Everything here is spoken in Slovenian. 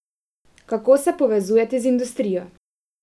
Kako se povezujete z industrijo?